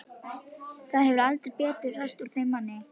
Það hefur heldur betur ræst úr þeim manni!